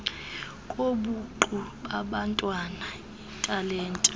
kobuqu babantwana iitalente